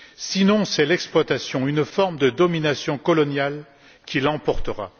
Sinon, c'est l'exploitation, une forme de domination coloniale, qui l'emportera.